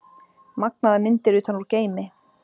Magnaðar myndir utan úr geimi